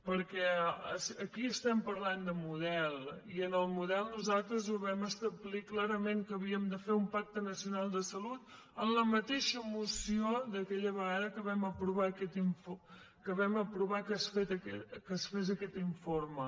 perquè aquí estem parlant de model i en el model nosaltres ho vam establir clarament que havíem de fer un pacte nacional de salut en la mateixa moció d’aquella vegada que vam aprovar que es fes aquest informe